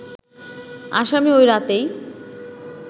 আসামি ওই রাতেই